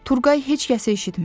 Turğay heç kəsi eşitmirdi.